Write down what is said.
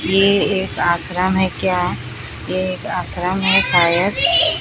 ये एक आश्रम है क्या ये एक आश्रम है शायद।